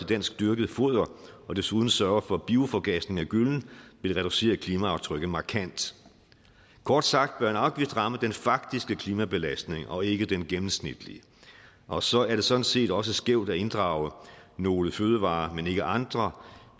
dansk dyrket foder og desuden sørger for bioforgasning af gyllen vil reducere klimaaftrykket markant kort sagt bør en afgift ramme den faktiske klimabelastning og ikke den gennemsnitlige og så er det sådan set også skævt at inddrage nogle fødevarer men ikke andre